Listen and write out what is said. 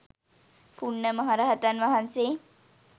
පුණ්ණ මහ රහතන් වහන්සේ